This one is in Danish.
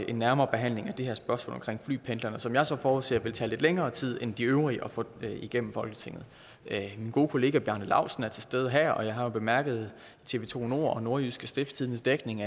en nærmere behandling af det her spørgsmål om flypendlerne som jeg så forudser vil tage lidt længere tid end de øvrige at få igennem folketinget min gode kollega bjarne laustsen er til stede her og jeg har jo bemærket tv to og nordjyske stiftstidendes dækning